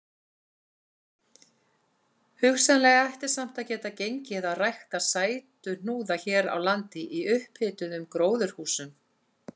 Hugsanlega ætti samt að geta gengið að rækta sætuhnúða hér á landi í upphituðum gróðurhúsum.